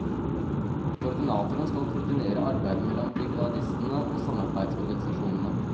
Koordinatoren skal koordinere arbeidet mellom brigadistene og samarbeidsorganisasjonene.